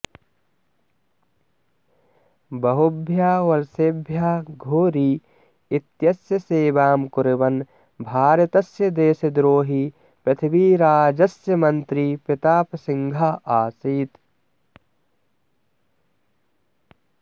बहुभ्यः वर्षेभ्यः घोरी इत्यस्य सेवां कुर्वन् भारतस्य देशद्रोही पृथ्वीराजस्य मन्त्री प्रतापसिंहः आसीत्